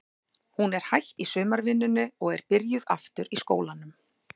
Hún er hætt í sumarvinnunni og er byrjuð aftur í skólanum.